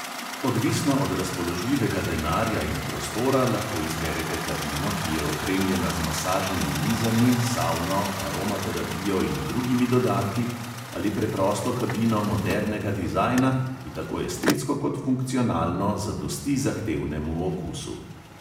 Odvisno od razpoložljivega denarja in prostora lahko izberete kabino, ki je opremljena z masažnimi mizami, savno, aromaterapijo in drugimi dodatki, ali preprosto kabino modernega dizajna, ki tako estetsko kot funkcionalno zadosti zahtevnemu okusu.